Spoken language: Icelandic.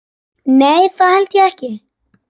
Nei, það held ég ekki.